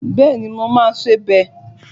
Bẹ́ẹ̀ni, mo máa ṣe bẹ́ẹ̀